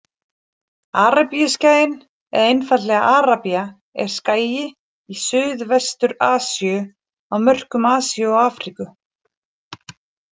Arabíuskaginn eða einfaldlega Arabía er skagi í Suðvestur-Asíu á mörkum Asíu og Afríku.